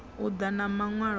u ḓa na maṅwalo a